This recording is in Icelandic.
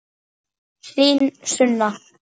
Þín Sunna.